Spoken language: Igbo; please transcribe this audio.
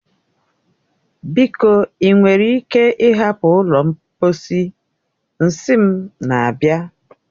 Biko, ị nwere ike ịhapụ ụlọ mposi, nsị m na-abịa.